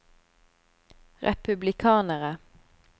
republikanere